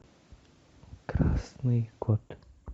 красный кот